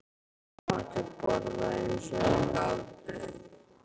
Allir máttu borða eins og þeir gátu.